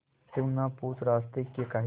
तू ना पूछ रास्तें में काहे